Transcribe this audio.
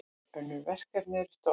Önnur verkefni eru stopp.